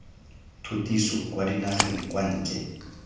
tshutiso kwa dinageng kwa ntle